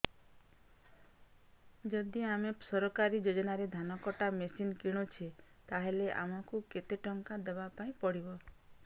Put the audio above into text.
ଯଦି ଆମେ ସରକାରୀ ଯୋଜନାରେ ଧାନ କଟା ମେସିନ୍ କିଣୁଛେ ତାହାଲେ ଆମକୁ କେତେ ଟଙ୍କା ଦବାପାଇଁ ପଡିବ